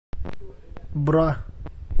бра